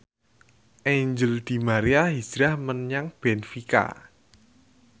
Angel di Maria hijrah menyang benfica